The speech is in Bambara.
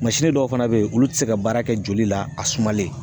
Mansin dɔw fana be yen olu te se ka baara ke joli la a sumalen